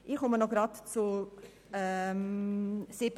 Ich komme noch gleich zu 7.c.